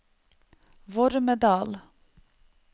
Vormedal